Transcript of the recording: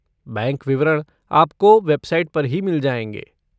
Bank विवरण आपको website पर ही मिल जाएंगे।